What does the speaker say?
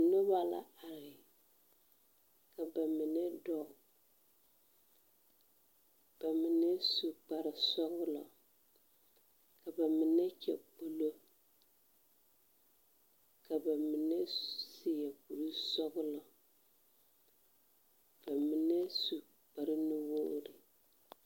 Noba la are, ka ba mine dɔɔ, ka ba mine su kpare sɔglɔ, ka ba mine kyɛ kpolo, ka ba mine seɛ kuri sɔglɔ, ka ba mine su kpare nuwogiri.